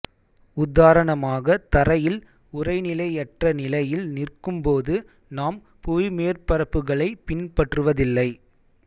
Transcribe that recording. உதாரணமாக தரையில் உறைநிலையற்ற நிலையில் நிற்கும்போது நாம் புவிமேற்பரப்புகளை பின்பற்றுவதில்லை